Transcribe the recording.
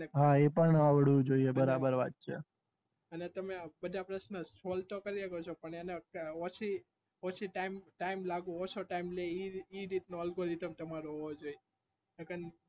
હા અપાન આવડવુજોય એને તમે બધા પ્રશ્ન solve તો કરી શકો છો પણ એને ઓછો time લાગે ઓછો time લે એવું algorithm તમારો હોવું જોઈએ